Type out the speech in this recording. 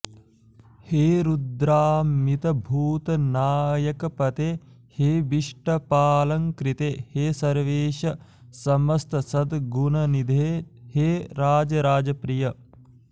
हे रुद्रामितभूतनायकपते हे विष्टपालङ्कृते हे सर्वेश समस्तसद्गुणनिधे हे राजराजप्रिय